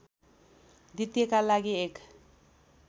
द्वितीयका लागि एक